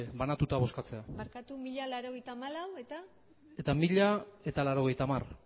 banatuta bozkatzea barkatu mila laurogeita hamalau eta eta mila laurogeita hamar